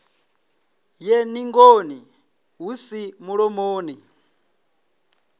ye ningoni hu si mulomoni